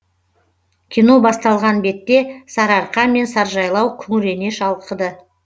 кино басталған бетте сары арқа мен саржайлау күңірене шалқыды